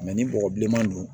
ni bɔgɔ bilenman don